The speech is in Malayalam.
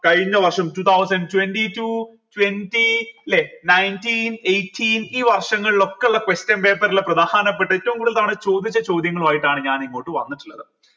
കഴിഞ്ഞവർഷം two thousand twenty two twenty ല്ലെ nineteen eighteen ഈ വർഷങ്ങളിലൊക്കെ ള്ള question papers ലെ പ്രധാനപ്പെട്ട ഏറ്റവും കൂടുതൽ തവണ ചോദിച്ച ചോദ്യങ്ങളുമായിട്ടാണ് ഞാൻ ഇങ്ങോട്ട് വന്നിട്ടുള്ളത്